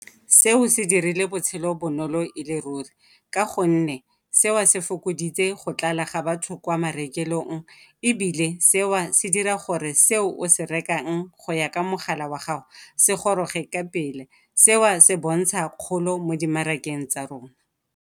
Seo se dirile botshelo bonolo e le ruri ka gonne seo se fokoditse go tlala ga batho kwa marekelong ebile seo se dira gore seo o se rekang go ya ka mogala wa gago se goroge ka pele. Seo se bontsha kgolo mo dimarakeng tsa rona.